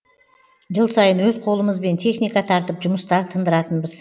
жыл сайын өз қолымызбен техника тартып жұмыстар тындыратынбыз